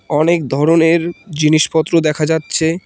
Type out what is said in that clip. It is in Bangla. অনেক ধরনের জিনিসপত্র দেখা যাচ্ছে।